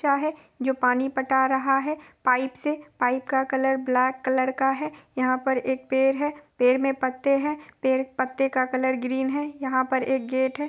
है जो पानी पटा रहा है| पाइप से | पाइप का कलर ब्लैक कलर का है| यहाँ पर एक पेड़ है पेड़ में पत्ते है पेड़-पत्ते का कलर ग्रीन है| यहाँ पर एक गेट है।